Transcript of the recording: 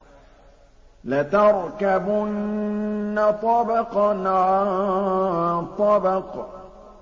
لَتَرْكَبُنَّ طَبَقًا عَن طَبَقٍ